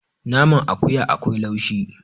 naman akuya akwai laushi